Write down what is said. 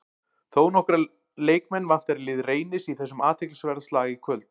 Þónokkra leikmenn vantar í lið Reynis í þessum athyglisverða slag í kvöld.